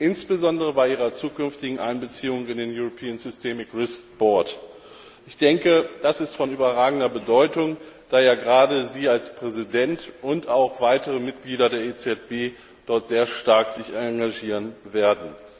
insbesondere bei ihrer zukünftigen Einbeziehung in den European Systemic Risk Board Das ist von überragender Bedeutung, da ja gerade Sie als Präsident und auch weitere Mitglieder der EZB sich dort sehr stark engagieren werden.